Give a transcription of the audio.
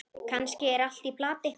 Kannski er allt í plati.